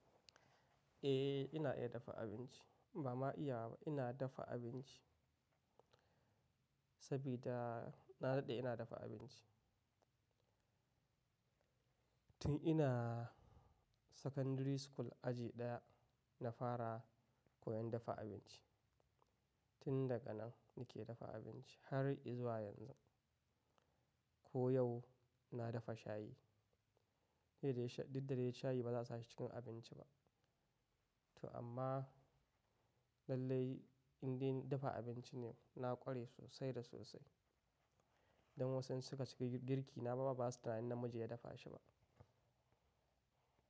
Eh, ina iya dafa abinci. Ba ma iya ba, ina dafa abinci. Saboda na daɗe ina dafa abinci. Tun ina secondary school aji ɗaya na fara koyan dafa abinci. Tin daga nan nake dafa abinci har izuwa yanzu. Ko yau na dafa shayi. Diddaye shayi ba za su yi cikin abinci ba. To amma lallai indai dafa abinci ne na ƙware sosai da sosai. Don wasu in suka ci girki na ba ma ba suna yin tunanin ni na dafa shi ba.